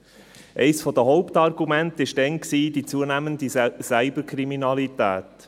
Eines der Hauptargumente war damals die zunehmende Cyberkriminalität.